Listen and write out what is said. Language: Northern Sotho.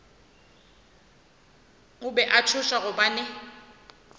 be a tšhoša gobane a